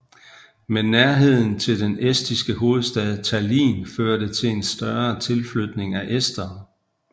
Men nærheden til den estiske hovedstad Tallinn førte til en større tilflytning af estere